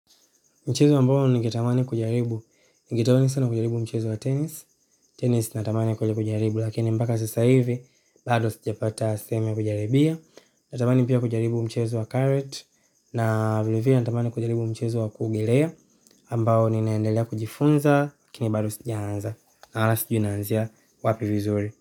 Mchezo ambao ningetamani kujaribu, ningetamani sana kujaribu mchezo wa tenisi. Tenisi natamani kweli kujaribu, lakini mpaka sasa hivi bado sijapata sehemu ya kujaribia. Natamani pia kujaribu mchezo wa karate, na vilevile natamani kujaribu mchezo wa kuogelea. Ambao ninaendelea kujifunza, lakini bado sijaanza ata sijui nianzie wapi vizuri.